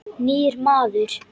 Nýr maður.